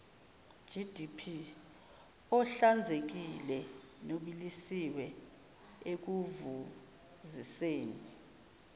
ohlanzekile nobilisiwe ekuvuziseni